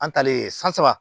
An talen san saba